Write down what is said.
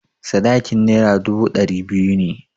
Sadakin Naira dubu ɗari biyu ne.